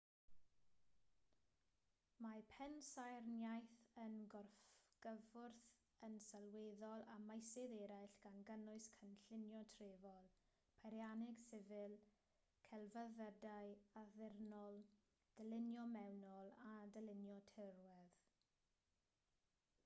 mae pensaernïaeth yn gorgyffwrdd yn sylweddol â meysydd eraill gan gynnwys cynllunio trefol peirianneg sifil celfyddydau addurnol dylunio mewnol a dylunio tirwedd